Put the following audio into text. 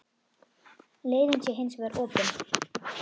Leiðin sé hins vegar opin.